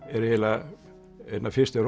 er eiginlega einn af fyrstu